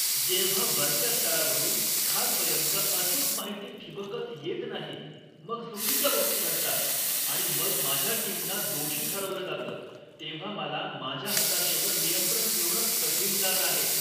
जेव्हा वरच्या स्तरावरून खालपर्यन्त अचूक माहिती ठिबकत येत नाही, मग चुकीच्या गोष्टी घडतात आणि मग माझ्या टीमना दोषी ठरवलं जातं, तेव्हा मला माझ्या हताशेवर नियंत्रण ठेवणं कठीण जात आहे.